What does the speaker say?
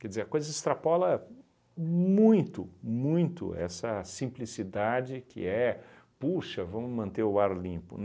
Quer dizer, a coisa extrapola muito, muito essa simplicidade que é, puxa, vamos manter o ar limpo.